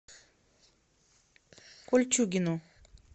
кольчугино